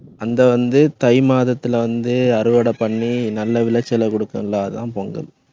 அந்த வந்து, தை மாதத்துல வந்து அறுவடை பண்ணி நல்ல விளைச்சலை கொடுக்கும் இல்ல அதான் பொங்கல்.